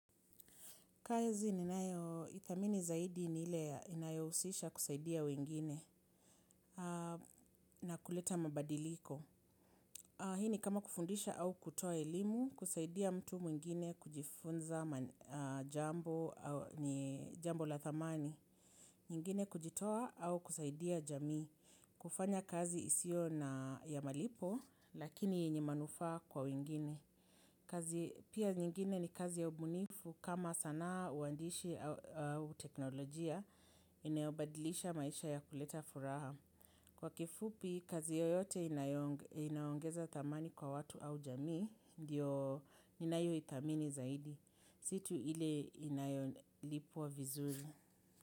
Kazi ninayoithamini zaidi ni ile inayohusisha kusaidia wengine na kuleta mabadiliko. Hii ni kama kufundisha au kutoa elimu, kusaidia mtu mwingine kujifunza jambo la thamani. Nyingine kujitoa au kusaidia jamii. Kufanya kazi isio na ya malipo, lakini yenye manufaa kwa wengine. Kazi pia nyingine ni kazi ya ubunifu kama sanaa uandishi au teknolojia inayobadilisha maisha ya kuleta furaha. Kwa kifupi kazi yoyote inaongeza thamani kwa watu au jamii ndiyo ninayoithamini zaidi. Si tu ile inayolipwa vizuri.